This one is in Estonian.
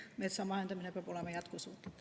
Metsa majandamine peab olema jätkusuutlik.